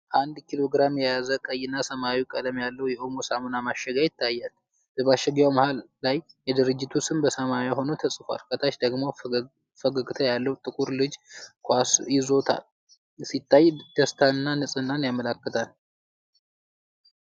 አንድ ኪሎ ግራም የያዘ ቀይ እና ሰማያዊ ቀለም ያለው የኦሞ ሳሙና ማሸጊያ ይታያል። በማሸጊያው መሀል ላይ የድርጅቱ ስም በሰማያዊ ሆኖ ተጽፏል። ከታች ደግሞ ፈገግታ ያለው ጥቁር ልጅ ኳስ ይዞ ሲታይ፣ ደስታንና ንጽህናን ያመለክታል።